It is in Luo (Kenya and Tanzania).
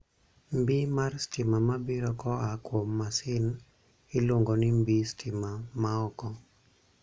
Mbii mar stima mabiro koaa kuom masin iluongo ni mbii stima ma oko.